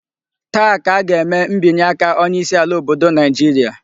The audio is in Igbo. Taa ka a ga-eme mbinye aka onye isi ala obodo Naijiria